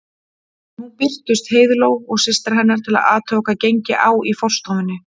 Nú birtust Heiðló og systir hennar til að athuga hvað gengi á í forstofunni.